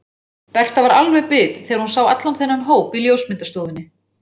Berta var alveg bit þegar hún sá allan þennan hóp í ljósmyndastofunni.